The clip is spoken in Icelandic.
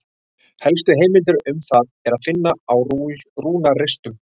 Helstu heimildir um það er að finna á rúnaristum.